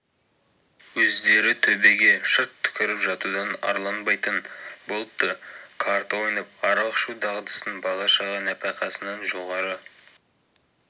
өздері төбеге шырт түкіріп жатудан арланбайтын болыпты карта ойнап арақ ішу дағдысын бала-шаға нәпақасынан жоғары